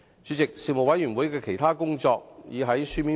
主席，事務委員會的其他工作已在書面報告中詳細交代。